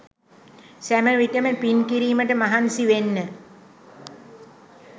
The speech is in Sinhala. සෑම විටම පින් කිරීමට මහන්සි වෙන්න.